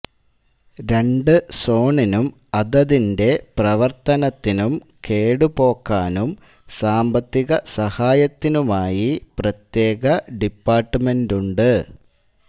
രണ്ടു സോണിനും അതതിന്റെ പ്രവർത്തനത്തിനും കേടു പോക്കാനും സാമ്പത്തികസഹായത്തിനുമായി പ്രത്യേക ഡിപ്പാർട്ടുമെന്റുണ്ട്